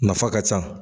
Nafa ka ca